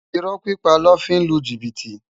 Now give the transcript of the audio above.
Irò pipá lò fi n lú jibiti